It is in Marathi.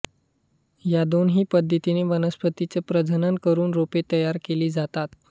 या दोन्ही पद्धतीने वनस्पतीचे प्रजनन करून रोपे तयार केली जातात